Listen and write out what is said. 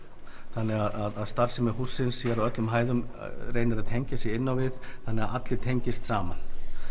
þannig að starfsemi hússins á öllum hæðum reynir að tengja sig inn á við þannig að allir tengist saman